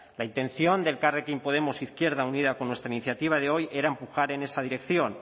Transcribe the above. la intención de elkarrekin podemos izquierda unida con nuestra iniciativa de hoy era empujar en esa dirección